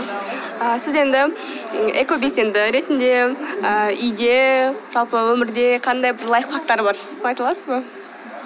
і сіз енді экобелсенді ретінде ы үйде жалпы өмірде қандай бір лайфхактар бар соны айта аласыз ба